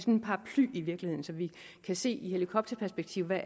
en paraply i virkeligheden så vi kan se i helikopterperspektiv hvad